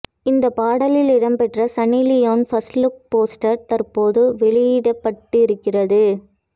இந்தப் பாடலில் இடம்பெற்ற சன்னி லியோனின் ஃபர்ஸ்ட் லுக் போஸ்டர் தற்போது வெளியிடப்பட்டிருக்கிறது